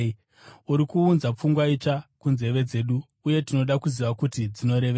Uri kuunza pfungwa itsva kunzeve dzedu, uye tinoda kuziva kuti dzinorevei.”